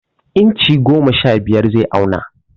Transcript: Inchi goma sha biyar zai auna.